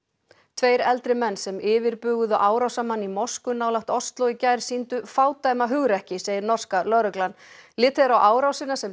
tveir eldri menn sem yfirbuguðu árásarmann í mosku nálægt Osló í gær sýndu fádæma hugrekki segir norska lögreglan litið er á árásina sem